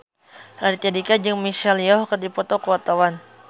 Raditya Dika jeung Michelle Yeoh keur dipoto ku wartawan